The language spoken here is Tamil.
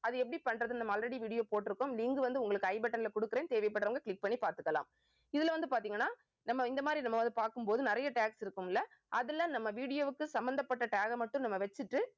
அது எப்படி பண்றதுன்னு நம்ம already video போட்டிருக்கோம். link வந்து உங்களுக்கு i button ல குடுக்கிறேன். தேவைப்படுறவங்க click பண்ணி பாத்துக்கலாம். இதுல வந்து பாத்தீங்கன்னா நம்ம இந்த மாதிரி நம்ம வந்து பாக்கும் போது நிறைய tags இருக்கும்ல அதுல நம்ம video வுக்கு சம்பந்தப்பட்ட tag அ மட்டும் நம்ம நம்ம வச்சிட்டு